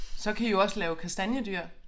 Så kan I jo også lave kastanjedyr